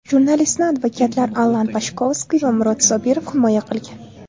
Jurnalistni advokatlar Allan Pashkovskiy va Murod Sobirov himoya qilgan.